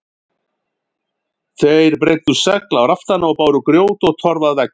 Þeir breiddu segl á raftana og báru grjót og torf að veggjum.